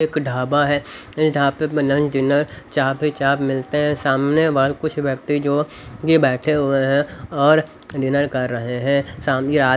एक ढाबा है इस ढापे पे लंच डिनर चाप ही चाप मिलते हैं सामने वाल कुछ व्यक्ति जो ये बैठे हुए हैं और डिनर कर रहे हैं साम--